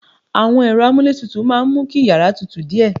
Àwọn ẹ̀rọ amuletutu máa ń mú kí yàrá tútù díẹ̀